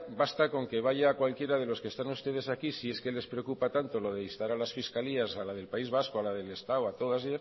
basta con que vaya cualquiera de los están ustedes aquí si es que les preocupa tanto lo de instar a las fiscalías a la del país vasco a la del estado a todas